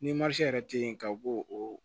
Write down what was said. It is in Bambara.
Ni yɛrɛ tɛ ye ka b'o o